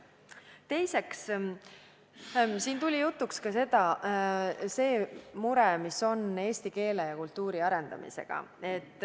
Teiseks, siin tuli jutuks ka mure, mis on seotud eesti keele ja kultuuri arendamisega.